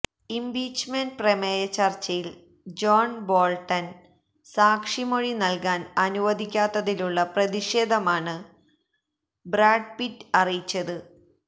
impeachment പ്രമേയ ചര്ച്ചയില് John Bolton സാക്ഷി മൊഴി നല്കാന് അനുവദിക്കാത്തതിലുള്ള പ്രതിഷേധമാണ് ബ്രാഡ് പിറ്റ് അറിയിച്ചത്